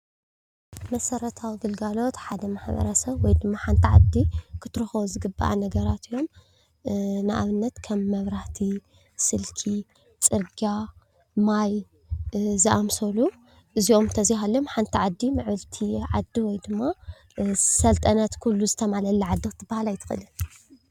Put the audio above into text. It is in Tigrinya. መሰረታዊ ግልጋሎት ሓደ ማሕበረሰብ ወይ ድማ ሓንቲ ዓዲ ክትረክቦ ዝግባኣ ነገራት እዩ። ንኣብነት ከም መብራህቲ፣ ስልኪ፣ ማይ፣ ፅርግያ፣ ዝኣምሰሉ እዚኦም እንተዘይ ሃሊዮም ሓንቲ ዓዲ ምዕብልቲ ዓዲ ወይ ድማ ዝሰልጠነት ዓዲ ኩሉ ዝተማለኣላ ዓዲ ክትባሃል ኣይትክእልን።